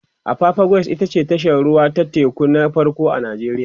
apapa quays ita ce tashar ruwa ta teku na farko a nijeriya